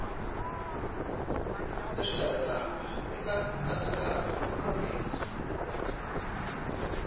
leswi lavekaka eka nkatsakanyo nkomiso